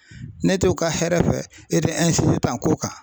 Ne t'o ka hɛrɛ fɛ e te tan ko kan.